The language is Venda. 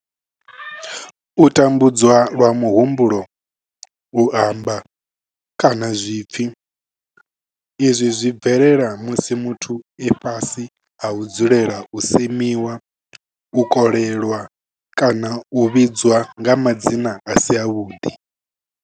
U tambudzwa lwa muhumbulo, u amba, kana zwipfi, Izwi zwi bvelela musi muthu e fhasi ha u dzulela u semiwa, u kolelwa kana u vhidzwa nga madzina a si avhuḓi.